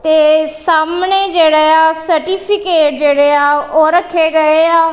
ਸਾਹਮਣੇ ਜਿਹੜੇ ਆ ਸਰਟੀਫਿਕੇਟ ਜਿਹੜੇ ਆ ਓਹ ਰੱਖੇ ਗਏ ਆ।